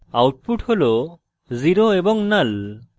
output হল 0 এবং null